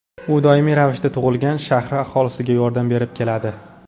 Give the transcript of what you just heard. U doimiy ravishda tug‘ilgan shahri aholisiga yordam berib keladi.